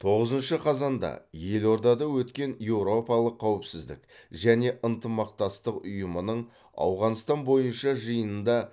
тоғызыншы қазанда елордада өткен еуропалық қауіпсіздік және ынтымақтастық ұйымының ауғанстан бойынша жиынында